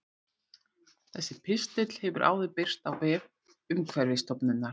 Þessi pistill hefur áður birst á vef Umhverfisstofnunar.